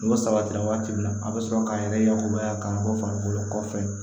N'o sabatira waati min na a bɛ sɔrɔ k'an yɛrɛ yakubaya ka bɔ farikolo kɔfɛ